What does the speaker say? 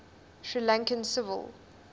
sri lankan civil